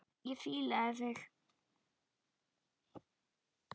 Ég fílaði þig.